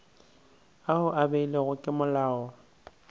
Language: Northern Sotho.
ao a beilwego ke molao